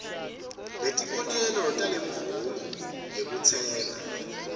latibonelo talemvumo yekutsenga